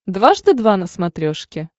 дважды два на смотрешке